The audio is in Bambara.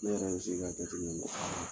Ne yɛrɛ bɛ sigi k'a jate minɛ